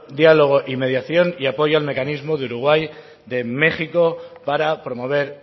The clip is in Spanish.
diálogo y mediación y apoyo al mecanismo de uruguay de méxico para promover